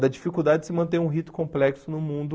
Da dificuldade de se manter um rito complexo no mundo...